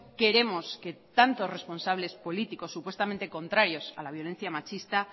queremos que tanto responsables políticos supuestamente contrarios a la violencia machista